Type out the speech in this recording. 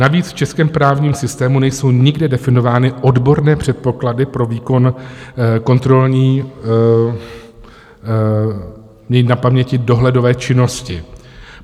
Navíc v českém právním systému nejsou nikde definovány odborné předpoklady pro výkon kontrolní... mít na paměti dohledové činnosti.